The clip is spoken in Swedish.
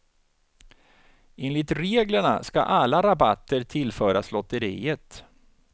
Enligt reglerna ska alla rabatter tillföras lotteriet.